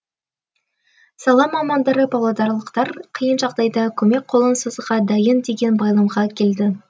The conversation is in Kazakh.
сала мамандары павлодарлықтар қиын жағдайда көмек қолын созуға дайын деген байламға келді